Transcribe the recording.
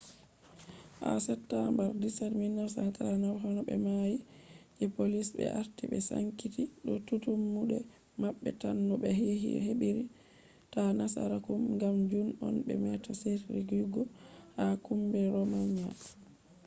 ha september 17 1939,honobe mai je polish be arti be sankiti tum mu de mabbe tan no be hebir ta nasaraku gam jun on be meta shiriyugo ha kumbi romanian